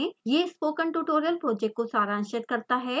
यह spoken tutorial project को सारांशित करता है